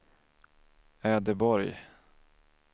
Ödeborg